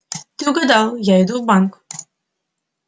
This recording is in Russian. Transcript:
ты угадала я иду в банк